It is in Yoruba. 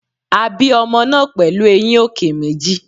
A bí ọmọ náà pẹ̀lú eyín òkè méjì.